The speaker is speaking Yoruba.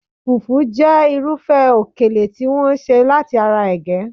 Fufu jẹ́ irúfẹ́ okele tí wọ́n ṣe láti ara ege